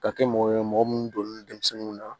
Ka kɛ mɔgɔ ye mɔgɔ minnu donnen don denmisɛnninw na